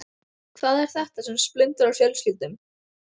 Hvað er þetta sem splundrar fjölskyldum?